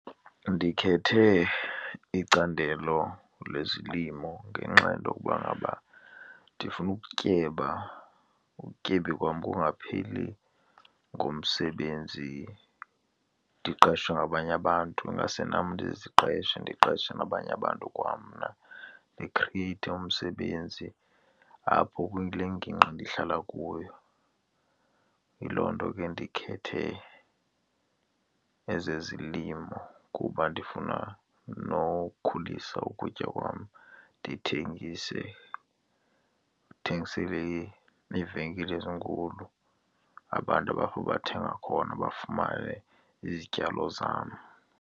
Ndikhethe icandelo lezilimo ngenxa yento yokuba ngaba ndifuna ukutyeba, ubutyebi bam bungapheli ngomsebenzi ndiqeshwe ngabanye abantu. Ingase nam ndiziqeshe, ndiqeshe nabanye abantu kwamna ndikriyeyithe umsebenzi apho kule ngingqi ndihlala kuyo. Yiloo nto ke ndikhethe egezezilimo kuba ndifuna nokhulisa ukutya kwam, ndithengise, ndithengisele neevenkile ezinkulu, abantu baphaa bathenga khona bafumane izityalo zam.